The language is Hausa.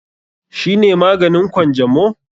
Shi ne maganin Kwanjamo?